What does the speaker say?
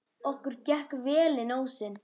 Okkur gekk vel inn ósinn.